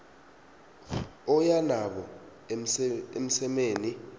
oya nabo emsemeni